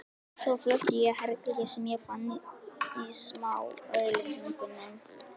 Svo flutti ég í herbergi sem ég fann í smáauglýsingunum.